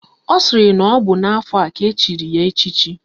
Ọ sịrị na ọ bụ n'afọ a ka echiri ya echichi